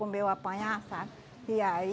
Comer ou apanhar, sabe? E aí